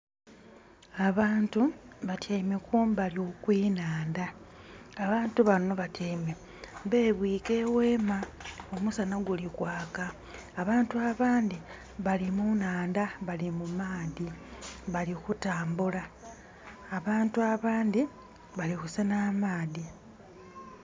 Abantu batyaime kumbali okw'enhandha. Abantu bano batyaime bebwiika eweema, omusana guli kwaka. Abantu abandhi bali mu nhandha bali mu maadhi, bali kutambula. Abantu abandhi bali kusenha amaadhi.